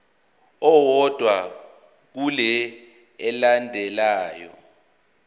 owodwa kule elandelayo